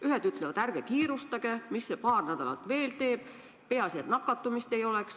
Ühed ütlevad: ärge kiirustage, mis see paar nädalat veel teeb, peaasi, et nakatumist ei oleks.